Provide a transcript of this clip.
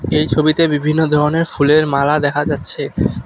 এই ছবিতে বিভিন্ন ধরনের ফুলের মালা দেখা যাচ্ছে।